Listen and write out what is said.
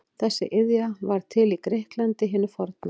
Þessi iðja varð til í Grikklandi hinu forna.